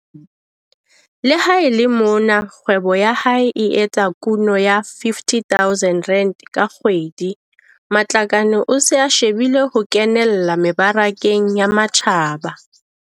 Le ha e le mona kgwebo ya hae e etsa kuno ya R50 000 ka kgwedi, Matlakane o se a shebile ho kenella mebarakeng ya matjhaba.